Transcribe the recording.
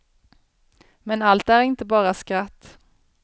Men allt är inte bara skratt.